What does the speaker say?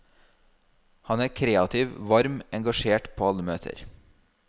Han er kreativ, varm, engasjert på alle møter.